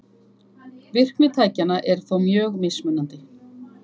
Virkni tækjanna er þó mjög mismunandi.